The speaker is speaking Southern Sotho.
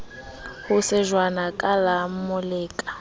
ho shejwana ka la moleka